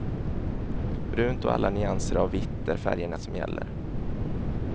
Brunt och alla nyanser av vitt är färgerna som gäller.